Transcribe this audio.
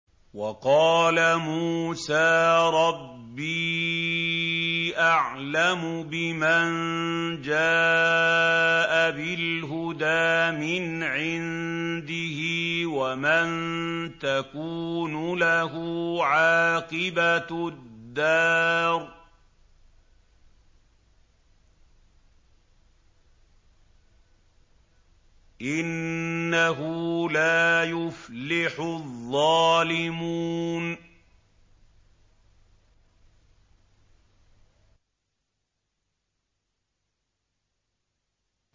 وَقَالَ مُوسَىٰ رَبِّي أَعْلَمُ بِمَن جَاءَ بِالْهُدَىٰ مِنْ عِندِهِ وَمَن تَكُونُ لَهُ عَاقِبَةُ الدَّارِ ۖ إِنَّهُ لَا يُفْلِحُ الظَّالِمُونَ